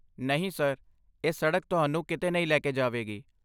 ਨਹੀਂ, ਸਰ। ਇਹ ਸੜਕ ਤੁਹਾਨੂੰ ਕਿਤੇ ਨਹੀਂ ਲੈ ਕੇ ਜਾਵੇਗੀ।